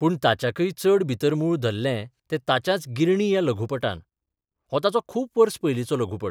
पूण ताच्याक्य चड भितर मूळ धरलें तें ताच्याच 'गिरणी 'ह्या लघुपटान हो ताचो खूब बस पयलीचो लघुपट.